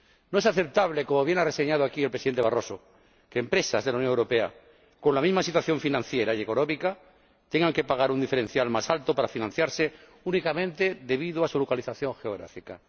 No es aceptable ―como bien ha reseñado aquí el Presidente Barroso― que empresas de la Unión Europea con la misma situación financiera y económica tengan que pagar un diferencial más alto para financiarse únicamente debido a su localización geográfica.